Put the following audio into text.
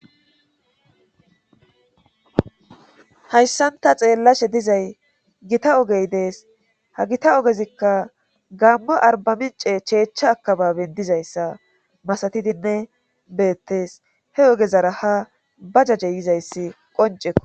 hayssanta xeellashe dizay gita ogey dees ha gita ogezikka gammo arbamince cheechcha akababen dizayssa masatidinne beettes he ogezara ha ba jajje yizayssi qoncekko